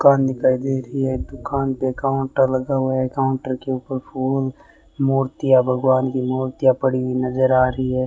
दुकान दिखाई दे रही है दुकान पे काउंटर लगा हुआ है काउंटर के ऊपर फूल मूर्तियां भगवान की मूर्तियां पड़ी हुई नजर आ रही है।